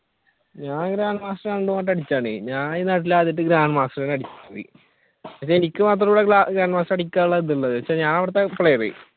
ഞാൻ അങ്ങനെ grand master രണ്ടു വട്ടം അടിച്ചതാണ് എനിക്ക് മാത്രമേയുള്ളു ഇവിടെ grand master അടിക്കാനുള്ള ഇതുള്ളത്